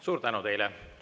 Suur tänu teile!